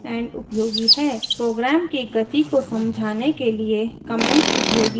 programme की गति को समझाने के लिए कमेंट्स उपयोगी हैं